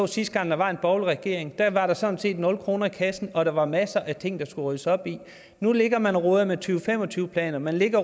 sidste gang der var en borgerlig regering der var der sådan set nul kroner i kassen og der var masser af ting der skulle ryddes op i nu ligger man og roder med to fem og tyve planer man ligger